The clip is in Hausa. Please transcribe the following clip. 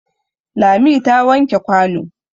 Lami ta wanke kwano.